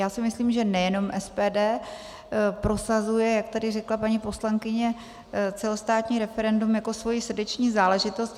Já si myslím, že nejenom SPD prosazuje, jak tady řekla paní poslankyně, celostátní referendum jako svoji srdeční záležitost.